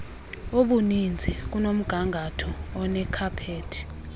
obuninzi kunomgangatho onekhaphethi